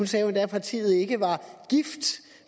sagde endda at partiet jo ikke var gift